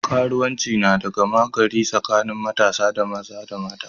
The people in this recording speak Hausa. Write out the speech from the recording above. Karuwanci na da gama gari tsakanin matasa maza da mata.